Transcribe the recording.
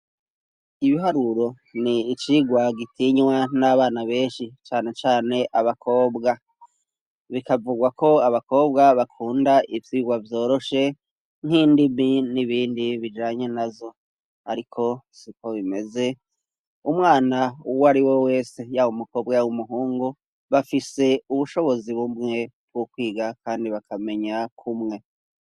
Ibiharuro ni icigwa gitinywa n'abana benshi cane cane abakobwa. Bikavugwa ko abakobwa bakunda ivyigwa vyoroshe nk'indimi n'ibindi bijanye nazo. Ariko siko bimeze, umwana uwari we wese yawe umukobwa yaba umuhungu bafise ubushobozi bumwe bw'ukwiga kandi bakamenya kumwe.